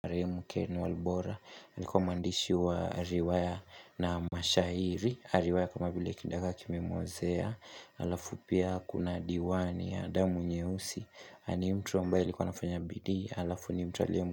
Mkene walbora alikuwa mwandishi waariwaya na mashairi Ariwaya kama vile kidagaa kime muozea Alafu pia kuna diwani ya damu nyeusi ani mtu mbae alikuwa anafanya bidii Alafu ni mtu aliye.